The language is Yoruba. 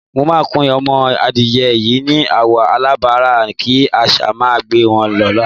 Mo máa kun o̩mo̩ adìye̩ yìí ni àwò̩ aláràbarà kí às̩á má gbe wo̩n ló̩la.